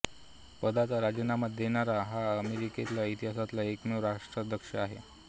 पदाचा राजीनामा देणारा हा अमेरिकी इतिहासातला एकमेव राष्ट्राध्यक्ष आहे